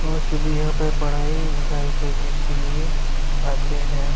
وو سبھی یھاں پر پڑھیی لکھیی کرنے آتے ہیں-